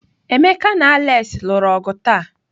Emeka na Alex lụrụ ọgụ taa.